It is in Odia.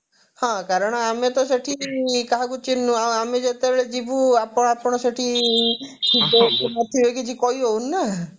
ହଁ କାରଣ ଆମେ ତ ସେଠି କାହାକୁ ଚିହ୍ନିନୁ ଆଉ ଆମେ ଯେତେବେଳେ ଯିବୁ ଆପଣ ଆପଣ ସେଠି ଥିବେ କି ନଥିବେ କିଛି କହିହଉନି ନା